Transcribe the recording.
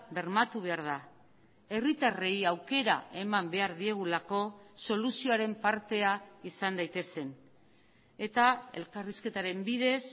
bermatu behar da herritarrei aukera eman behar diegulako soluzioaren partea izan daitezen eta elkarrizketaren bidez